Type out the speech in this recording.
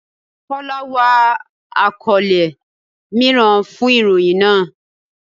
Tọ́lá wá àkọ́lé mìíràn fun ìròyìn náà.